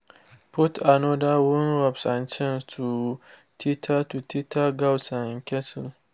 put another worn ropes and chains to tether to tether goats and cattle.